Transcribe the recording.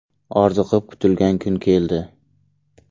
Orziqib kutilgan kun keldi.